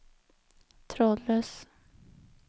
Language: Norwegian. trådløs